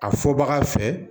A fɔ baga fɛ